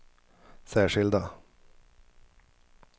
särskilda